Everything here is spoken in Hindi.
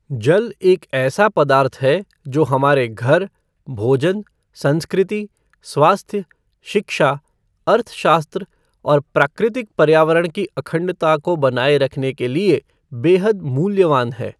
जल एक ऐसा पदार्थ है, जो हमारे घर, भोजन, संस्कृति, स्वास्थ्य, शिक्षा, अर्थशास्त्र और प्राकृतिक पर्यावरण की अखंडता को बनाए रखने के लिए बेहद मूल्यवान है।